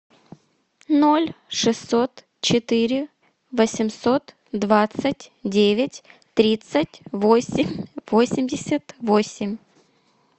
ноль шестьсот четыре восемьсот двадцать девять тридцать восемь восемьдесят восемь